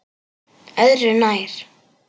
Öðru nær!